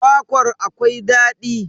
Kwakwar akwai daɗi.